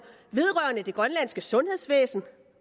vedrørende det grønlandske sundhedsvæsen